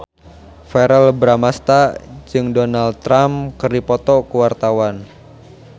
Verrell Bramastra jeung Donald Trump keur dipoto ku wartawan